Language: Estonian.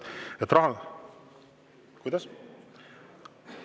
Kuidas?